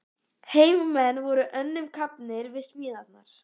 Heimamenn voru önnum kafnir við smíðarnar.